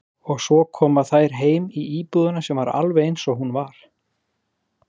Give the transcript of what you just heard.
til evrópuþingsins geta þeir kosið sem hafa evrópskan ríkisborgararétt